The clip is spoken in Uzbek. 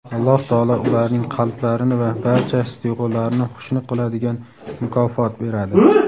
Alloh taolo ularning qalblarini va barcha his-tuyg‘ularini xushnud qiladigan mukofot beradi.